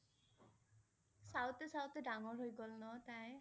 চাওঁতে চাওঁতে ডাঙৰ হৈ গ'ল ন তাই?